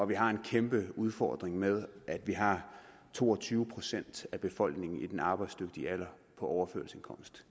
vi har en kæmpe udfordring med at vi har to og tyve procent af befolkningen i den arbejdsdygtige alder på overførselsindkomst